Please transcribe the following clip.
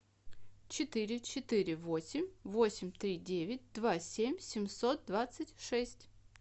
четыре четыре восемь восемь три девять два семь семьсот двадцать шесть